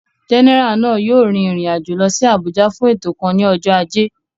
Jẹ́nẹ́rà náà yóò rin ìrìn àjò lọ sí Àbújá fún ètò kan ní ọjọ́ ajé